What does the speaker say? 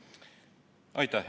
Aitäh!